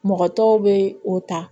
Mɔgɔ tɔw bɛ o ta